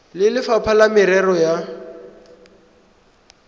le lefapha la merero ya